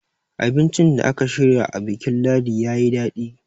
abincin da aka shirya a bikin ladi ya yi daɗi